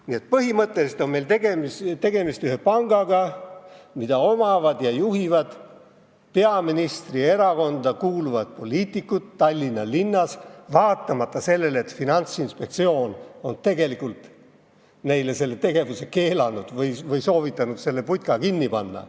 Nii et põhimõtteliselt on meil tegemist ühe pangaga, mida omavad ja juhivad peaministri erakonda kuuluvad poliitikud Tallinna linnas, vaatamata sellele, et Finantsinspektsioon on tegelikult neile selle tegevuse keelanud või soovitanud selle putka kinni panna.